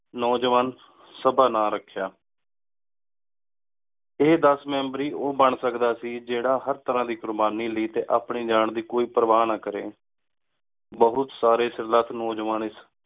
ਨੋਜਵਾਨ ਸਭਾ ਨਾਮੇ ਰਖ੍ਯਾ ਇਹ ਦਸ ਮੇਮ੍ਬ੍ਰੀ ਓਹ ਬਣ ਸਕਦਾ ਸੀ ਜੇਰਹਾ ਹਰ ਤਰ੍ਹਾ ਦੀ ਕੁਰਬਾਨੀ ਲੈ ਟੀ ਆਪਣੀ ਜਾਂ ਦੀ ਕੋਈ ਪਰਵਾਹ ਨਾ ਕਰੀ ਬੋਹਤ ਸਾਰੀ ਨੋਜਵਾਨ ਏਸ